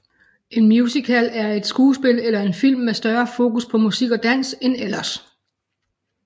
En musical er et skuespil eller en film med større fokus på musik og dans end ellers